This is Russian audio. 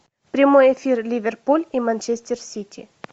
прямой эфир ливерпуль и манчестер сити